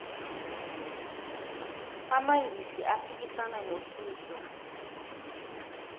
amangisi aphikisana nohitler